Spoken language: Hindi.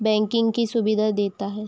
बैंकिंग की सुविधा देता हैं।